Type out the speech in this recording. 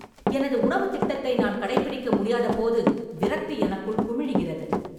எனது உணவுத் திட்டத்தை நான் கடைப்பிடிக்க முடியாதபோது விரக்தி எனக்குள் குமிழிகிறது.